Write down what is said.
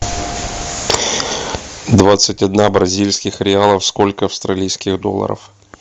двадцать одна бразильских реалов сколько австралийских долларов